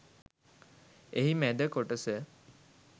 එහි මැද කොටස